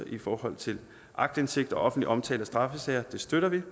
i forhold til aktindsigt og offentlig omtale af straffesager det støtter vi